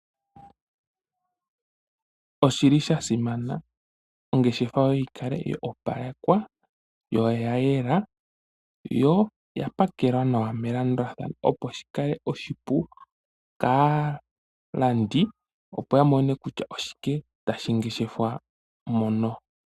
Oshili shasimana ongeshefa yoye yikale ya opalekwa yo oya yela yo oyapakelwa nawa melandulathano opo shikale oshipu kaalandi opo yamone kutya oshike tashi ngeshefwa mono.